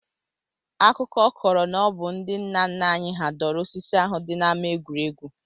Akụkọ kọrọ na ọ bụ ndị nna nna anyị hà dọrọ osisi ahụ dị n'ama egwuregwu